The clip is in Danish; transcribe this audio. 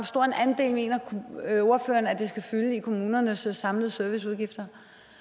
stor en andel mener ordføreren at det skal fylde i kommunernes samlede serviceudgifter